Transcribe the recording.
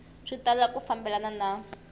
swi tala ku fambelana na